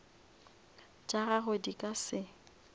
tša gagwe di ka se